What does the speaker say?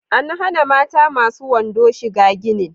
An hana mata masu wando shiga ginin